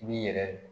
I b'i yɛrɛ